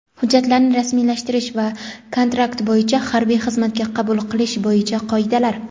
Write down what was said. hujjatlarini rasmiylashtirish va kontrakt bo‘yicha harbiy xizmatga qabul qilish bo‘yicha qoidalar.